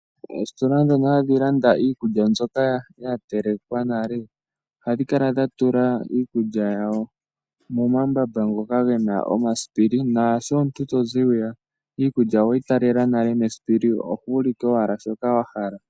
Oositola dhono hadhi landa iikulya mbyoka ya telekwa nale ohadhi kala dha tula iikulya yawo momambamba ngoka gena omasipili naasho omuntu tozi hwiya iikulya oweyi talela nale mesipili oho ulike wala shoka wahala.